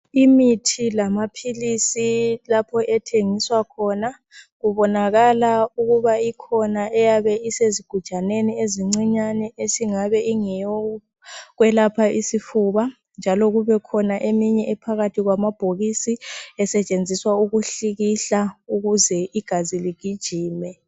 Imithi lamaphilisi lapho ethengiswa khona kubonakala ukuba ikhona eyabe isezigujaneni ezincinyane esingabe ingeyokwelapha isifuba njalo kubekhona eminye ephakathi kwamabhokisi esetshenziswa ukuhlikihla ukuze igazi ligijime.